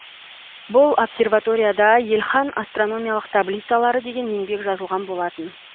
бұл обсерваторияда ельхан астрономиялық таблицалары деген еңбек жазылған болатын